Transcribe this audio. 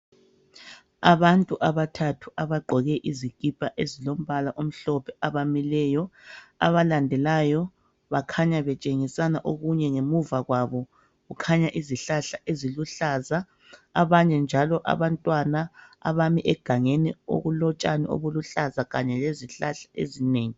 Abantu abathathu abagqoke izikipa ezilombala omhlophe bamileyo abalandelayo bakhanya betshingisana okunye. Ngemuva kwabo kukhanya izihlahla eziluhlaza abanye njalo abantwana abami egangeni okulotshani obuluhlaza kanye lezihlahla ezinengi.